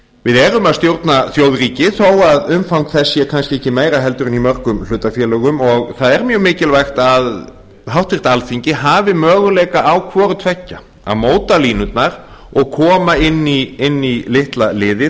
við erum að stjórna þjóðríki þó að umfang þess sé kannski ekki meira heldur en í mörgum hlutafélögum og það er mjög mikilvægt að háttvirt alþingi hafi möguleika á hvorutveggja að móta línurnar og koma inn í litla liði